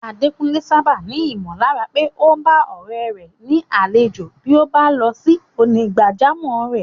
Adekunle ń sáábà ní ìmọ̀lára pé ó bá ọ̀rẹ́ rẹ̀ ni àlejò bí ó bá lọ rí onígbàjámọ̀ rẹ̀.